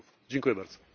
Dziękuję bardzo.